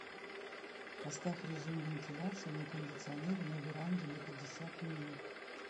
поставь режим вентиляции на кондиционере на веранде на пятьдесят минут